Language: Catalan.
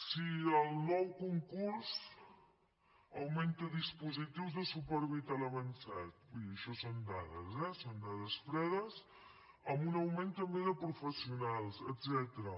si el nou concurs augmenta dispositius de suport vital avançat vull dir això són dades eh són dades fredes amb un augment també de professionals etcètera